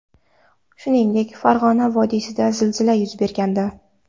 Shuningdek, Farg‘ona vodiysida zilzila yuz bergandi .